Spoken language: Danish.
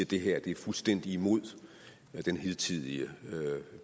det her er fuldstændig imod den hidtidige